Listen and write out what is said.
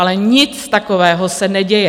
Ale nic takového se neděje.